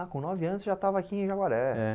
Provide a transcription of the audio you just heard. Ah, com nove anos você já estava aqui em Jaguaré? É